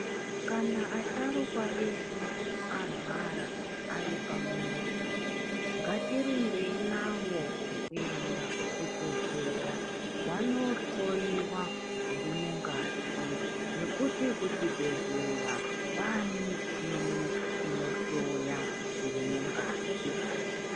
Kana asharukwa edu arwara, aripamuzi, ngatirumbei navo kuenda kuchibhedhleya , vanohloiwa zviri mungazi, ngekuti kuchibhedhleya, kwaane michini inohloya zviri mukati.